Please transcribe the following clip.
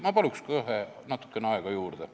Ma palun natukene aega juurde.